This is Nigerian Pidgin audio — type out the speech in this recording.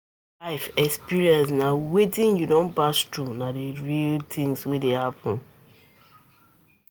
Life experience na wetin you don pass through, na di real things wey dey happen